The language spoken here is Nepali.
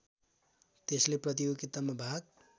त्यसले प्रतियोगितामा भाग